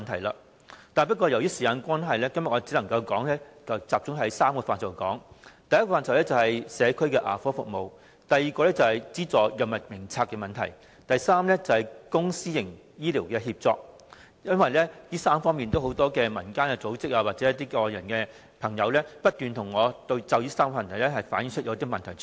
然而，由於時間關係，我今天只能集中談談3個範疇，第一個範疇是社區牙科服務，第二是《藥物名冊》所資助藥物的問題，第三是公私營醫療協作，因為民間組織或外界的朋友均不斷向我反映這3方面的問題。